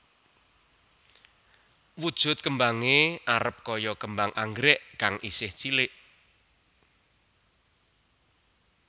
Wujud kembangé arep kaya kembang anggrèk kang isih cilik